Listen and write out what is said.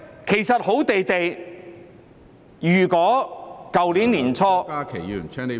其實好端端的，如果去年年初......